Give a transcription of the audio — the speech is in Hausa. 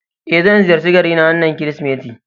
Eh, zan ziyarci garina wannan Kirsimeti